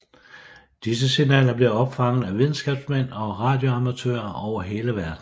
Disse signaler blev opfanget af videnskabsmænd og radioamatører over hele verden